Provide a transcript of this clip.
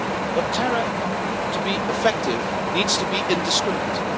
But terror, to be effective, needs to be indiscriminate.